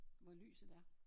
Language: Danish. Hvor lyset er